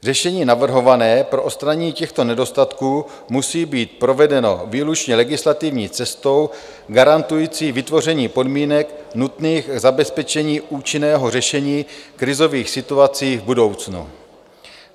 Řešení navrhované pro odstranění těchto nedostatků musí být provedeno výlučně legislativní cestou garantující vytvoření podmínek nutných k zabezpečení účinného řešení krizových situací v budoucnu.